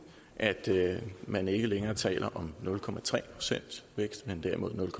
at man ikke længere taler om nul procent vækst men derimod nul